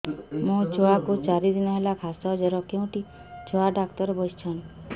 ମୋ ଛୁଆ କୁ ଚାରି ଦିନ ହେଲା ଖାସ ଜର କେଉଁଠି ଛୁଆ ଡାକ୍ତର ଵସ୍ଛନ୍